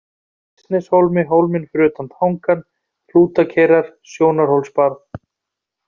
Hrísneshólmi, Hólminn fyrir utan tangann, Hrútageirar, Sjónarhólsbarð